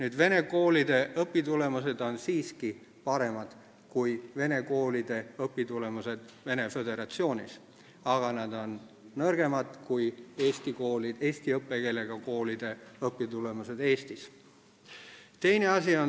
Meie vene koolide õpitulemused on siiski paremad kui vene koolide õpitulemused Venemaa Föderatsioonis, aga nad on nõrgemad kui eesti õppekeelega koolide õpitulemused Eestis.